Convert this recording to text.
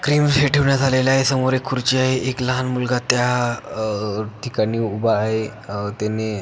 cream ठेवण्यात आलेल आहे समोर एक खुर्ची आहे एक लहान मुलगा त्या अह ठिकाणी उभा आहे अह त्याने--